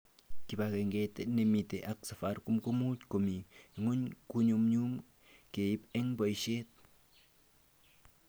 Kibagenget nemite ak Safaricom komuch komi ngwony konyumnyum keib eng boishet